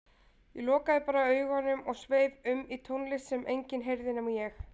Ég lokaði bara augunum og sveif um í tónlistinni sem enginn heyrði nema ég.